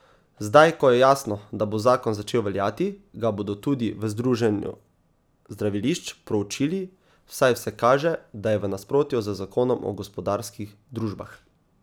Zdaj, ko je jasno, da bo zakon začel veljati, ga bodo tudi v združenju zdravilišč proučili, saj vse kaže, da je v nasprotju z zakonom o gospodarskih družbah.